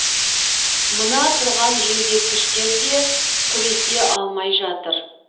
мына тұрған желдеткіштер де күресе алмай жатыр